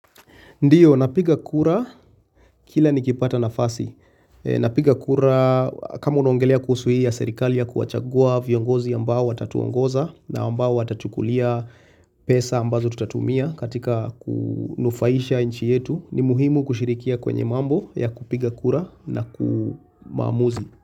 Ndiyo, napiga kura kila nikipata nafasi. Napiga kura, kama unongelia kuhusu hii ya serikali ya kuachagua viongozi ambao watatuongoza na ambao atatukulia pesa ambazo tutatumia katika kunufaisha inchi yetu, ni muhimu kushirikia kwenye mambo ya kupiga kura na kumamuzi.